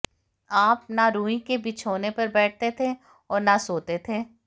आप न रुई के बिछोनों पर बैठते थे और न सोते थे